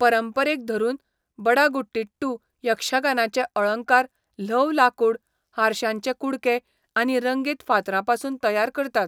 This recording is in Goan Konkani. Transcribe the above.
परंपरेक धरून, बडागुटिट्टू यक्षगानाचे अळंकार ल्हव लाकूड, हारशांचे कुडके, आनी रंगीत फातरांपसून तयार करतात.